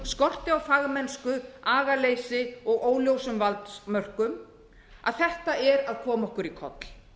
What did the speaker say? skorti á fagmennsku agaleysi og óljósum valdmörkum að þetta er að koma okkur í koll